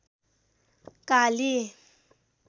काली